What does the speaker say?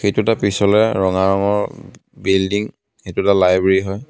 এইটো এটা পিছলৈ ৰঙা ৰঙৰ বিলডিং এইটো এটা লাইব্ৰেৰী হয়.